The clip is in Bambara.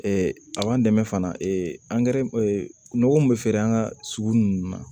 a b'an dɛmɛ fana angɛrɛ nɔgɔ min bɛ feere an ka sugu ninnu na